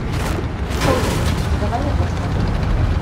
холлеры давай я посмотрю